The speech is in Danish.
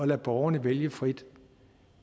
lade borgerne vælge frit